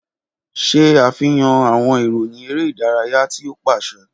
Ṣe afihan awọn iroyin ere idaraya ti o paṣẹ!